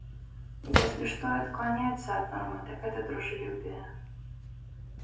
если что и отклоняется от нормы так это дружелюбие